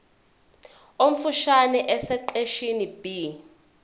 omfushane esiqeshini b